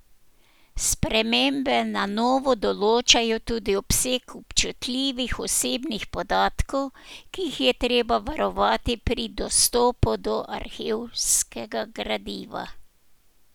Spremembe na novo določajo tudi obseg občutljivih osebnih podatkov, ki jih je treba varovati pri dostopu do arhivskega gradiva.